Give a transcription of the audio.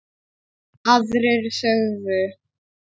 Aðrir sögðu: